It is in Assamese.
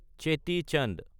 চেতি চান্দ